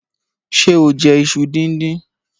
Ṣé o jẹ iṣu dindin?